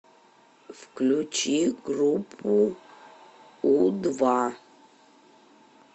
включи группу у два